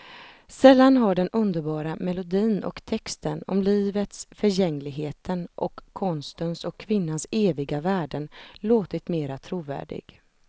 Sällan har den underbara melodin och texten om livets förgängligheten och konstens och kvinnans eviga värden låtit mera trovärdig.